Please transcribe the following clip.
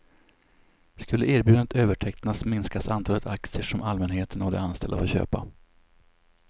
Skulle erbjudandet övertecknas minskas antalet aktier som allmänheten och de anställda får köpa.